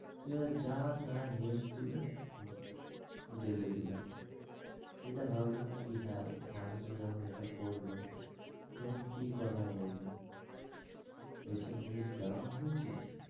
যা তা news তুলে ঢেলে দিলো, এটা ভাবলো নাকি হ্যাঁ মানুষ রা যখন এটা পড়বে তখন কি কথা বলবে? এই সব news দেওয়া হয়েছে,